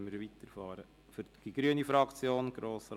Wenn nicht, fahren wir weiter.